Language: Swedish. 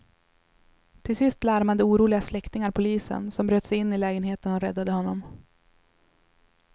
Till sist larmade oroliga släktingar polisen, som bröt sig in lägenheten och räddade honom.